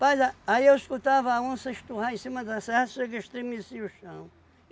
a, aí eu escutava a onça esturrar em cima da serra, sei que estremecia o chão.